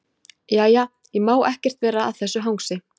Jæja, ég má ekkert vera að þessu hangsi.